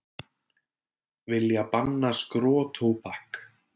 Vilja banna skrotóbak